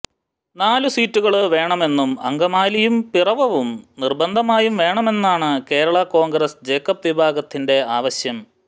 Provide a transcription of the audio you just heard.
നാല് സീറ്റുകള് വേണമെന്നും അങ്കമാലിയും പിറവവും നിര്ബന്ധമായും വേണമെന്നാണ് കേരള കോണ്ഗ്രസ് ജേക്കബ് വിഭാഗത്തിന്റെ ആവശ്യം